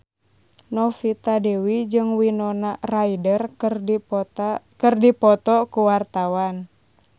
Novita Dewi jeung Winona Ryder keur dipoto ku wartawan